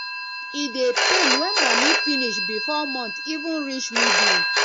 e dey pain when money finish bifor month even reach middle